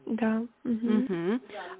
да угу угу